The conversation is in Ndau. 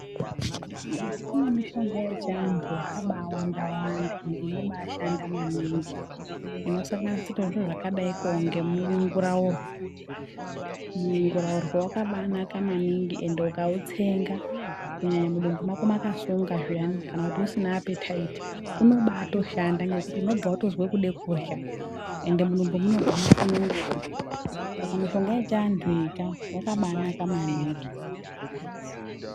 Kune mishonga yechiantu yakabaawandawanda endi inobaashanda maningi, inosanganisirawo zviro zvakadaiko ngemunguraurwe. Munguraurwe wakabaanaka maningi ende ukautsenga kunyanya mudumbu mako makasunga zviyani, kana kuti usina apethaithi unobaatoshanda ngekuti unobva watozwe kude kutorya, ende mudumbu munobva masunungura. Saka mishonga yechiantu iyi ka, yakabaanaka maningi.